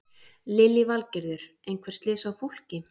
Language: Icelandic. Lillý Valgerður: Einhver slys á fólki?